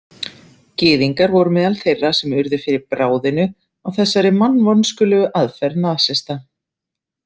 Gyðingar voru meðal þeirra sem urðu fyrir bráðinu á þessari mannvonskulegu aðferð nasista.